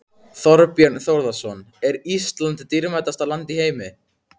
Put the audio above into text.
Þorbjörn Þórðarson: Er Ísland dýrasta land í heimi?